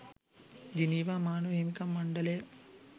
Geneva මානව හිමිකම් මණ්ඩලය